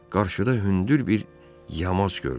Qarşıda hündür bir yamaz gördü.